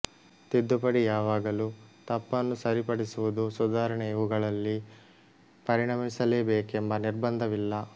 ತಿದ್ದುಪಡಿ ಯಾವಾಗಲೂ ತಪ್ಪನ್ನು ಸರಿಪಡಿಸುವುದು ಸುಧಾರಣೆ ಇವುಗಳಲ್ಲಿ ಪರಿಣಮಿಸಲೇಬೇಕೆಂಬ ನಿರ್ಬಂಧವಿಲ್ಲ